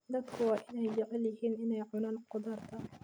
Dadku waa inay jecel yihiin inay cunaan khudaarta.